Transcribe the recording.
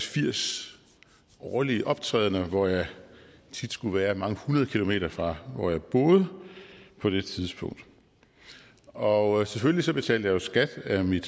firs årlige optrædener hvor jeg tit skulle være mange hundrede kilometer fra hvor jeg boede på det tidspunkt og selvfølgelig betalte jeg jo skat af mine